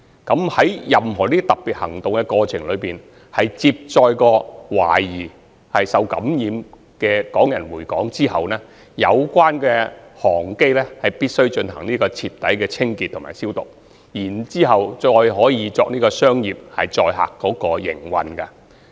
在任何這類特別行動中，如果有關航機曾接載懷疑受感染的港人，回港後必須進行徹底清潔及消毒，才可再用作商業載客的營運。